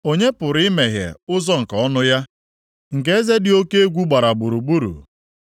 Onye pụrụ imeghe ụzọ nke ọnụ ya, nke eze dị oke egwu gbara gburugburu?